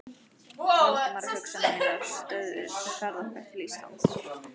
Valdimar, og hugsanir mínar stöðvuðust við ferð okkar til Íslands.